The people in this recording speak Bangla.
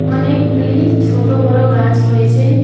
অনেকগুলি ছোট বড়ো গাছ রয়েছে।